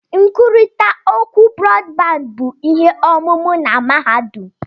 Nkwurịta okwu Brọdbandị bụ ihe ọmụmụ na mahadum.